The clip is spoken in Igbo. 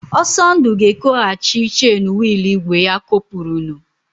Ọsọndụ ga-ekoghachi chen wịịlụ ígwè ya kopurunu.